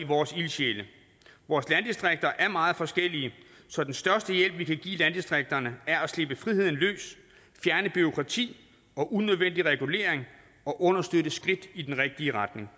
vores ildsjæle vores landdistrikter er meget forskellige så den største hjælp vi kan give landdistrikterne er at slippe friheden løs fjerne bureaukrati og unødvendig regulering og understøtte skridt i den rigtige retning